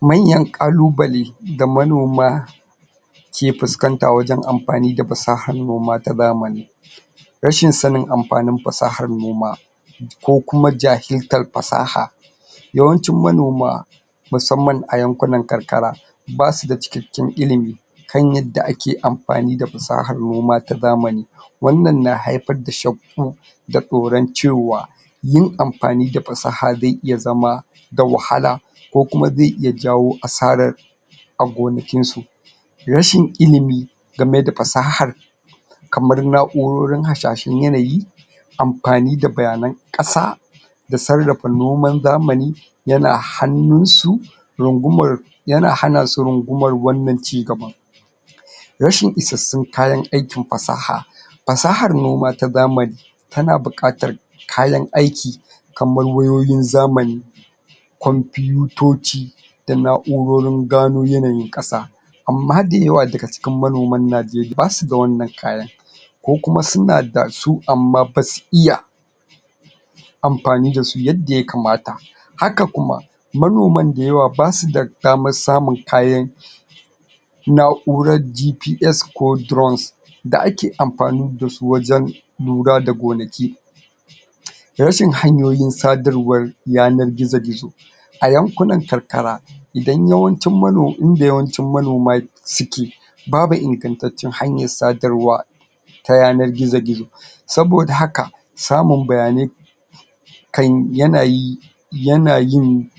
Manyan ƙalubale da manoma ke fuskanta wajen amfani da fasahar noma ta zamani rashin sanin amfanin fasahar noma ko kuma jahiltar fasaha yawancin manoma musamman a yankunan karkara ba su da cikakken ilimi kan yadda ake amfani da fasahar noma ta zamani wannnan na haifar da shakku da tsoron cewa yin amfani da fasaha zai iya zama da wahala ko kuma zai iya jawo asarar a gonakinsu rashin ilimi game da fasahar kamar na'urorin hasashen yanayi amfani da bayanan ƙasa da sarrafa noman zamani yana hannunsu rungumar yana hana su rungumar wannan cigaba rashin isassun kayan aikin fasaha fasahar noma ta zamani tana buƙatar kayan aiki kamar wayoyin zamani kwanfitoci da na'urorin gano yanayin ƙasa amma dayawa daga cikin manoman Najeriya ba su da wannan kayan ko kuma su na da su amma ba su iya amfani da su yadda ya kamata haka kuma manoman dayawa ba su da damar samun kayan na'urar GPS ko Drones da ake amfani da su wajen lura da gonaki rashin hanyoyin sadarwar yanar gizo-gizo a yankunan karkara idan yawancin manoma inda yawancin manoma suke babu ingantaccen hanyar sadarwa ta yanar gizo-gizo saboda haka samun bayanai kan yana yi yana yin